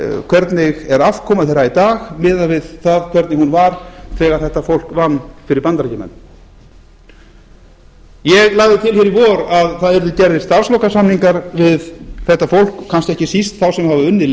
hvernig er afkoma þeirra í dag miðað við hvernig hún var þegar þetta fólk vann fyrir bandaríkjamenn ég lagði til hér í vor að það yrðu gerðir starfslokasamningar við þetta fólk kannski ekki síst þá sem hafa unnið